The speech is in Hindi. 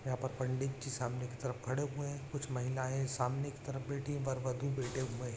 यहाँ पर पंडित जी सामने की तरफ खड़े हुए हैं कुछ महिलाएं सामने की तरफ बैठी हुई वर वधु बैठे हुए हैं।